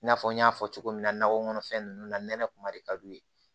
I n'a fɔ n y'a fɔ cogo min nakɔkɔnɔ fɛn ninnu na nɛnɛ kuma de ka d'u ye